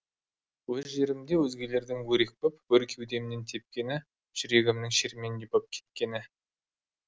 өз жерімде өзгелердің өрекпіп өр кеудемнен тепкені жүрегімнің шерменде боп кеткені